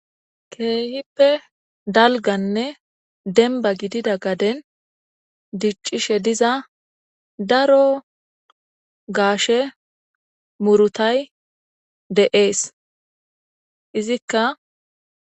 Kehippe dalgganne dembba gidida gaden dicishe dizza darro gashshe muruthay Dee'ss. Izzikka